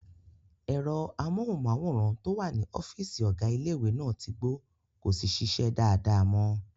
Ẹ̀rọ amóhùnmáwòrán tó wà ní ọ́fìsì ọ̀gá ilé-ìwé náà tí gbó, kò sí ṣíṣe dáadáa mọ